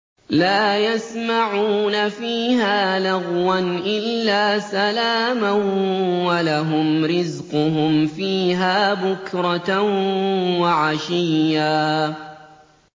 لَّا يَسْمَعُونَ فِيهَا لَغْوًا إِلَّا سَلَامًا ۖ وَلَهُمْ رِزْقُهُمْ فِيهَا بُكْرَةً وَعَشِيًّا